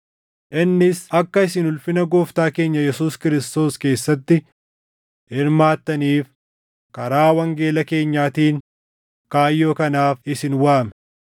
Innis akka isin ulfina Gooftaa keenya Yesuus Kiristoos keessatti hirmaattaniif karaa wangeela keenyaatiin kaayyoo kanaaf isin waame.